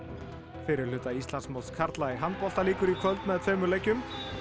fyrri hluti Íslandsmóts karla í handbolta lýkur í kvöld með tveimur leikjum